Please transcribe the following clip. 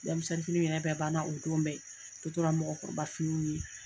Denmisennin finiw yɛrɛ banna o don bɛ, a tɔ tora mɔgɔkɔrɔba finiw ye.